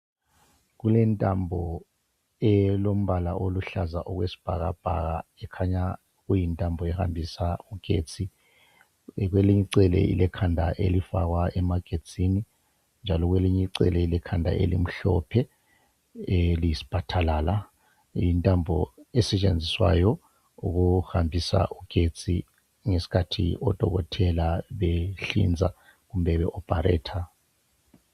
Kulentambo elombala oluhlaza okwesibhakabhaka , ikhanya yintambo ehambisa ugetsi , kwelinye icele ilekhanda elifakwa emagetsini njalo kwelinyi cele ilekhanda elimhlophe eliyisphatalala , yintambo esetshenziswayo ukuhambisa ugetsi ngesikhathi odokotela behlinza kumbe be operater